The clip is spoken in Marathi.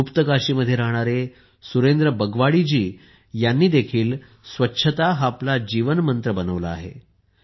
गुप्तकाशीमध्ये राहणारे सुरेंद्र बगवाडी जी यांनीही स्वच्छता हा आपला जीवन मंत्र असल्याचे मानले आहे